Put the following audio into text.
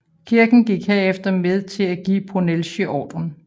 Kirken gik herefter med til at give Brunelleschi ordren